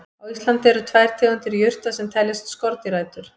Á Íslandi eru tvær tegundir jurta sem teljast skordýraætur.